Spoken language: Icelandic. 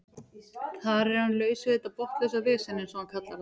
Þar er hann laus við þetta botnlausa vesen eins og hann kallar það.